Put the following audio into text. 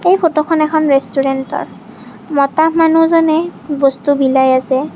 এই ফটোখন এখন ৰেষ্টোৰেন্তৰ মতা মানুহজনে বস্তু বিলাই আছে।